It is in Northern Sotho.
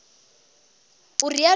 o realo o ra gore